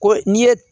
Ko n'i ye